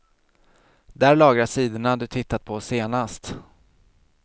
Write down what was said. Där lagras sidorna du tittat på senast.